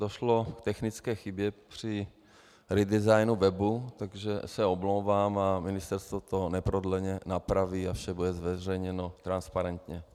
Došlo k technické chybě při redesignu webu, takže se omlouvám a ministerstvo to neprodleně napraví a vše bude zveřejněno transparentně.